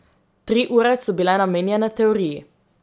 Tri ure so bile namenjene teoriji.